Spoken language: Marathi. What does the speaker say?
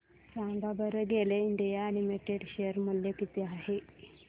सांगा बरं गेल इंडिया लिमिटेड शेअर मूल्य किती आहे